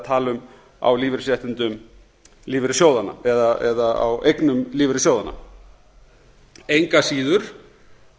tala um á lífeyrisréttindum lífeyrissjóðanna eða á eignum lífeyrissjóðanna engu að síður